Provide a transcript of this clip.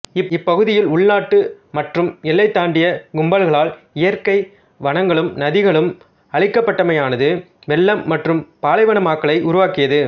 இப்பகுதியில் உள்நாட்டு மற்றும் எல்லை தாண்டிய கும்பல்களால் இயற்கை வனங்களும் நதிகளும் அழிக்கப்பட்டமையானது வெள்ளம் மற்றும் பாலைவனமாக்கலை உருவாக்கியது